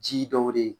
Ji dɔw de ye